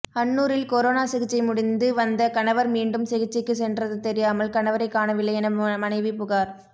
அன்னூரில் corona சிகிச்சை முடிந்து வந்த கணவர் மீண்டும் சிகிச்சைக்கு சென்றது தெரியாமல் கணவரை காணவில்லை என மனைவி புகார்